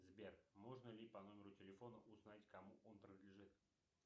сбер можно ли по номеру телефона узнать кому он принадлежит